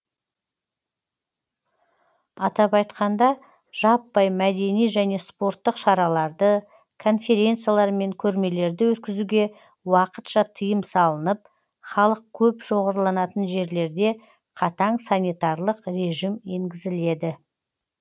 атап айтқанда жаппай мәдени және спорттық шараларды конференциялар мен көрмелерді өткізуге уақытша тыйым салынып халық көп шоғырланатын жерлерде қатаң санитарлық режим енгізіледі